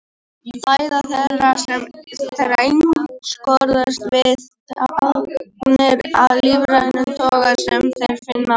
Fæða þeirra einskorðast við agnir af lífrænum toga sem þær finna á gólfum.